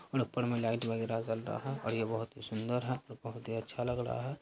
और ऊपर में लाइट वगेरा सब डाला हुआ है और ये बहुत ही सुन्दर है बहुत ही अच्छा लग रहा है।